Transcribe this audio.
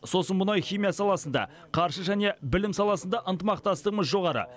сосын мұнай химия саласында қаржы және білім саласында ынтымақтастығымыз жоғары